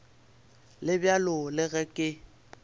le bjalo le ge ke